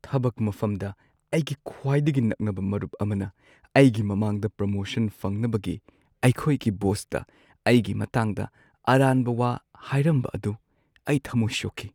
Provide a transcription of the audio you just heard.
ꯊꯕꯛ ꯃꯐꯝꯗ ꯑꯩꯒꯤ ꯈ꯭ꯋꯥꯏꯗꯒꯤ ꯅꯛꯅꯕ ꯃꯔꯨꯞ ꯑꯃꯅ ꯑꯩꯒꯤ ꯃꯃꯥꯡꯗ ꯄ꯭ꯔꯣꯃꯣꯁꯟ ꯐꯪꯅꯕꯒꯤ ꯑꯩꯈꯣꯏꯒꯤ ꯕꯣꯁꯇ ꯑꯩꯒꯤ ꯃꯇꯥꯡꯗ ꯑꯔꯥꯟꯕ ꯋꯥ ꯍꯥꯏꯔꯝꯕ ꯑꯗꯨ ꯑꯩ ꯊꯃꯣꯏ ꯁꯣꯛꯈꯤ꯫